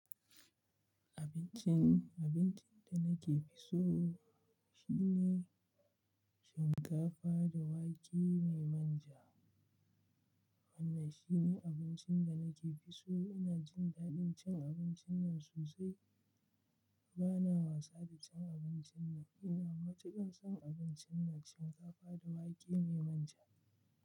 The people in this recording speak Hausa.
Abincin, abincin da nake fi so shine shinkafa da wake mai manja. Wannan shine abincin da nake fi so. Ina jin daɗin cin abincin nan sosai. Bana wasa da cin abincin nan. Ina matuƙan son abincin nan shinkafa da wake mai manja.